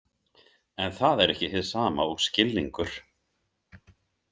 En það er ekki hið sama og skilningur.